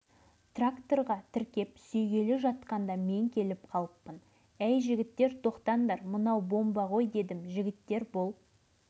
бригадир жігіт неге екенін қайдам қалайда осы затты ауылға апаруға бел байлаған сыңайлы